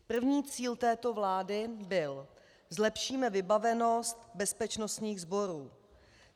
První cíl této vlády byl: zlepšíme vybavenost bezpečnostních sborů.